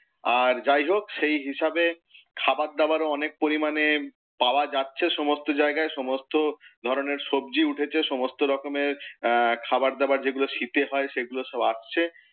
আর যাই হোক, সেই হিসাবে খাওয়ার দাওয়ারও অনেক পরিমাণে পাওয়া যাচ্ছে সমস্ত জায়গায়। সমস্ত ধরণের সবজি উঠেছে। সমস্ত রকমের আহ খাবার দাবার যেগুলো শীতে হয় সেগুলো সব আসছে।